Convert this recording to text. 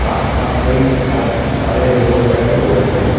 आस पास कई सा सारे लोग बैठे हुए हैं।